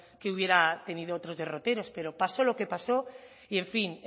que hubiera tenido otros derroteros pero pasó lo que pasó y en fin